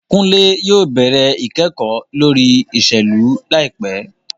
Kunle yóò bẹrẹ ikẹkọ lori iṣelu laipẹ